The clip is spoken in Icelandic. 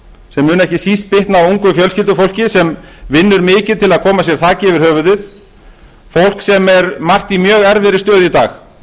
sem mun ekki síst bitna á ungu fjölskyldufólki sem vinnur mikið til að koma sér þaki yfir höfuðið fólk sem er margt í mjög erfiðri stöðu í dag